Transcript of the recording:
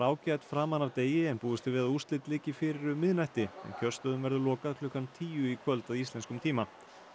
ágæt framan af degi en búist er við að úrslit liggi fyrir um miðnætti en kjörstöðum verður lokað klukkan tíu í kvöld að íslenskum tíma